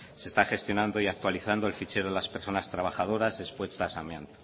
se está gestionando y actualizando el fichero de las personas trabajadoras expuestas a amianto